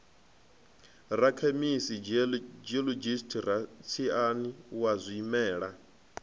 rakhemisi geologist rasaintsi wa zwimela